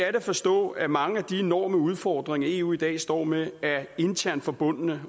at forstå at mange af de enorme udfordringer eu i dag står med er internt forbundne